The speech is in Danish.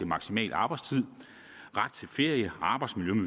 maksimal arbejdstid ret til ferie arbejdsmiljø